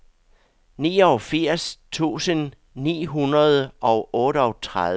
niogfirs tusind ni hundrede og otteogtredive